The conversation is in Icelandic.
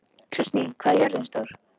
Kristný, hvað er jörðin stór?